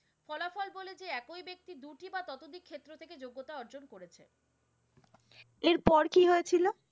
যোগ্যতা অর্জন করছে। এর পর কি হয়েছিল?